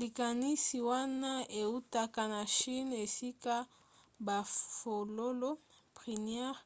likanisi wana eutaka na chine esika bafololo prunier